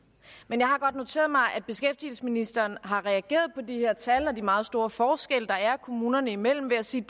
men jeg har godt noteret mig at beskæftigelsesministeren har reageret på de her tal og de meget store forskelle der er kommunerne imellem ved at sige